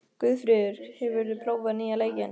Guðfríður, hefur þú prófað nýja leikinn?